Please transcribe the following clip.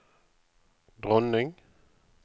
dronning